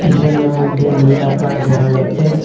পিছনের মইধ্যে নীল আকাশ দেখা যাচ্ছে।